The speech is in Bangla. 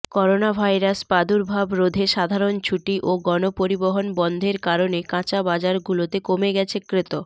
করোনাভাইরাস প্রাদুর্ভাব রোধে সাধারণ ছুটি ও গণপরিবহণ বন্ধের কারণে কাঁচা বাজারগুলোতে কমে গেছে ক্রেত